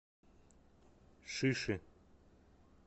шиши